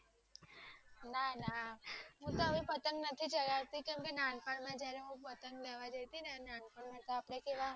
હું હવે પતંગ નથી ચગાવતી કેમકે નાનપણમાં જયારે પતંગ લેવા ગાયતી ને નાનપણ માં આપડે કેવા